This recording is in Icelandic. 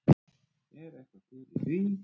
Er eitthvað til í því?